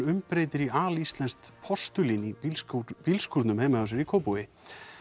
umbreytir í alíslenskt postulín í bílskúrnum bílskúrnum hjá sér í Kópavogi